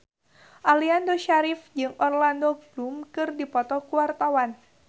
Aliando Syarif jeung Orlando Bloom keur dipoto ku wartawan